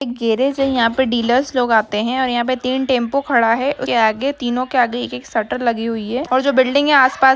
एक गेरेज है यहां पर डीलर्स लोग आते है और यहां पे तीन टेम्पू खड़ा है उसके आगे तीनो के आगे एक शटर लगी हुई है और जो बिल्डिंगे आस-पास --